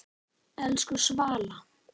Elsku Svala.